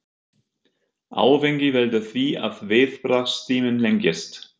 Áfengi veldur því að viðbragðstíminn lengist.